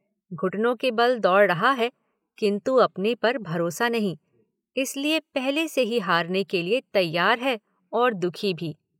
घुटनों के बल दौड़ रहा है किन्तु अपने पर भरोसा नहीं, इसलिए पहले से ही हारने के लिए तैयार है और दुखी भी।